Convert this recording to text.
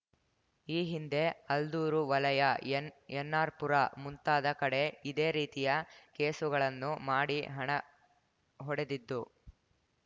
ಈ ಹಿಂದೆ ಅಲ್ದೂರು ವಲಯ ಎನ್‌ಎನ್‌ಅರ್‌ಪುರ ಮುಂತಾದ ಕಡೆ ಇದೆ ರೀತಿಯ ಕೇಸುಗಳನ್ನು ಮಾಡಿ ಹಣ ಹೊಡೆದಿದ್ದು